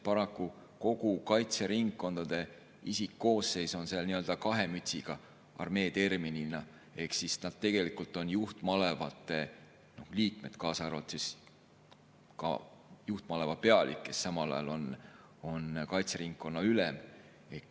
Paraku kogu kaitseringkondade isikkoosseis on seal nii-öelda kahe mütsiga armee ehk siis nad on tegelikult juhtmalevate liikmed, kaasa arvatud juhtmaleva pealik, kes samal ajal on kaitseringkonna ülem.